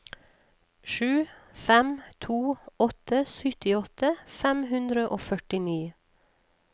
sju fem to åtte syttiåtte fem hundre og førtini